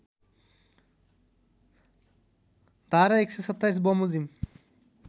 धारा १२७ बमोजिम